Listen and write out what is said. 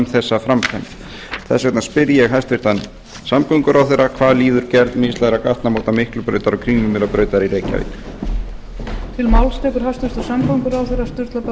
þessa framkvæmd þess vegna spyr ég hæstvirtan samgönguráðherra hvað líður gerð mislægra gatnamóta miklubrautar og kringlumýrarbrautar í reykjavík